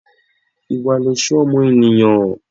Ìwà lẹ̀ṣọ́ ọmọ ènìyàn.